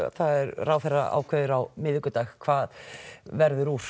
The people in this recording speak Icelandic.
ráðherra ákveður á miðvikudag hvað verður úr